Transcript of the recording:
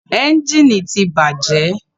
Ẹ́njìnì ti bàjẹ́.